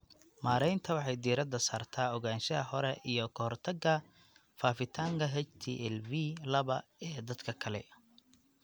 Maareynta waxay diiradda saartaa ogaanshaha hore iyo ka hortagga faafitaanka HTLV laba ee dadka kale.